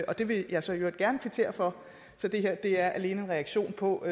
det vil jeg så i øvrigt gerne kvittere for så det her er alene en reaktion på